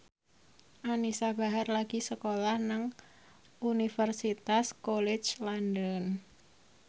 Anisa Bahar lagi sekolah nang Universitas College London